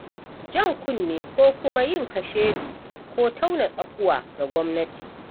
Jan kunne ko kuma yin kashedi ko tauna tsakuwa ga gwamnati.